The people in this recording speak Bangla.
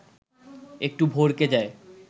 একটু ভড়কে যায়